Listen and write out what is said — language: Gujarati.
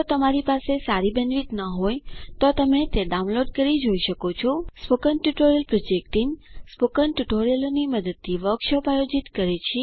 જો તમારી પાસે સારી બેન્ડવિડ્થ ન હોય તો તમે ડાઉનલોડ કરી તે જોઈ શકો છો spoken tutorial project team spoken ટ્યુટોરીયલોની મદદથી વર્કશોપ આયોજિત કરે છે